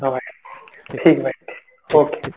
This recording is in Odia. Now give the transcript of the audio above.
ହଁ ଭାଇ ଠିକ ଅଛି ରଖୁଛି